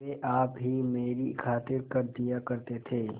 वे आप ही मेरी खातिर कर दिया करते थे